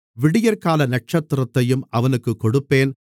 விடியற்கால நட்சத்திரத்தையும் அவனுக்குக் கொடுப்பேன்